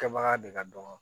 Kɛbaga de ka dɔgɔ